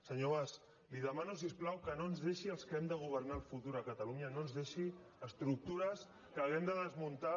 senyor mas li demano si us plau que no ens deixi als que hem de governar el futur a catalunya estructures que hàgim de desmuntar